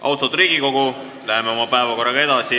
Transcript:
Austatud Riigikogu, läheme oma päevakorraga edasi.